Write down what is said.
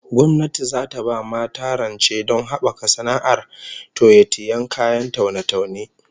Gwamnati zata ba mata rancevdon habaka sana'ar toye-tiyen kayan taune-taune